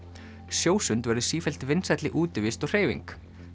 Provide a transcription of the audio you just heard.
sjósund verður sífellt vinsælli útivist og hreyfing